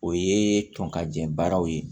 O ye tɔkɔjɔ baaraw ye